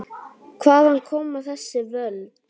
Hvaðan koma þessi völd?